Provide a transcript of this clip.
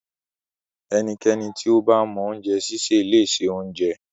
Ẹnikẹ́ni tí ó bá mọ oúnjẹ sísè le se oúnjẹ.